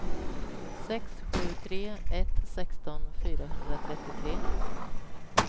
sex sju tre ett sexton fyrahundratrettiotre